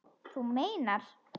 Þú meinar!